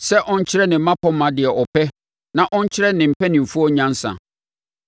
sɛ ɔnkyerɛ ne mmapɔmma deɛ ɔpɛ na ɔnkyerɛ ne mpanimfoɔ nyansa.